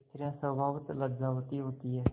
स्त्रियॉँ स्वभावतः लज्जावती होती हैं